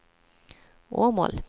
Åmål